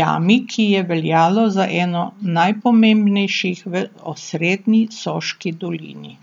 jami, ki je veljalo za eno najpomembnejših v osrednji Soški dolini.